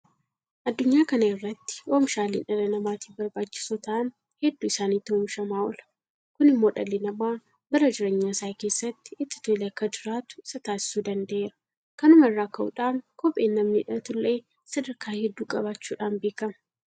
Addunyaa kana irratti oomishaaleen dhala namaatiif barbaachisoo ta'an hedduu isaaniitu oomishamaa oola. Kun immoo dhalli namaa bara jireenya isaa keessatti itti tolee akka jiraatu isa taasisuu danda'eera. Kanuma irraa ka'uudhaan Kopheen namni hidhatullee sadarkaa hedduu qabaachuudhaan beekama.